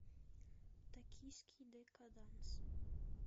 токийский декаданс